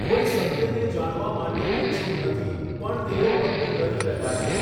કોઈ સત્યને જાણવા માટે ઇચ્છુક નથી પણ તેઓ ફક્ત લડી રહ્યા છે.